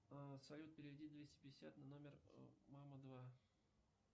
салют переведи двести пятьдесят на номер мама два